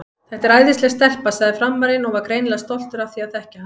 Þetta er æðisleg stelpa, sagði Frammarinn og var greinilega stoltur af því að þekkja hana.